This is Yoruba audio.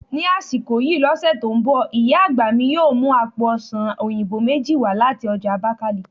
Ni asiko yii lose to n bo, iya agba mi yoo mu àpò ọsàn oyinbo meji wa lati oja Abakiliki